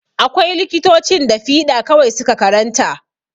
Akwai likitocin da fiɗa kawai su ka karanta.